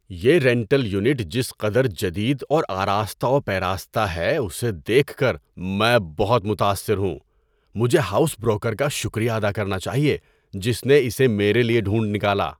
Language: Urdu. یہ رینٹل یونٹ جس قدر جدید اور آراستہ و پیراستہ ہے، اسے دیکھ کر میں بہت متاثر ہوں! مجھے ہاؤس بروکر کا شکریہ ادا کرنا چاہیے جس نے اسے میرے لیے ڈھونڈ نکالا۔